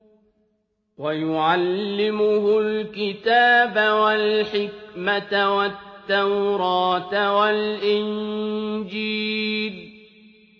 وَيُعَلِّمُهُ الْكِتَابَ وَالْحِكْمَةَ وَالتَّوْرَاةَ وَالْإِنجِيلَ